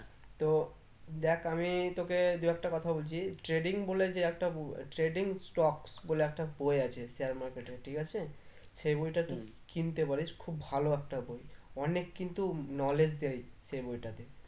তো দেখ আমি তোকে দু একটা কথা বলছি trading বলে যে একটা ব trading stocks বলে একটা বই আছে share market এর ঠিক আছে সেই বইটা কিনতে পারিস খুব ভালো একটা বই অনেক কিন্তু knowledge দেয় সেই বইটাতে